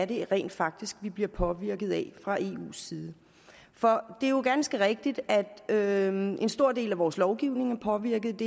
det rent faktisk er vi bliver påvirket af fra eus side for det er jo ganske rigtigt at en stor del af vores lovgivning er påvirket